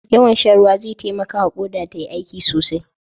Yawan shan ruwa zai taimakawa Ƙoda tayi aiki sosai.